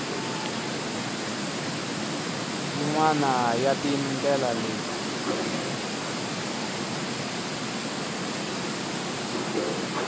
yin wana ya tindlela leti